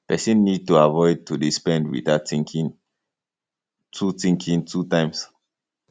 person need to avoid to dey spend without thinking two thinking two times